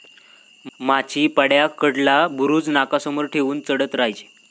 माचीपाड्याकडला बुरुज नाकासमोर ठेवून चढत राहायचे.